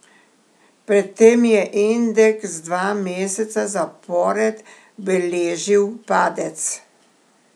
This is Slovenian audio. Pred tem je indeks dva meseca zapored beležil padec.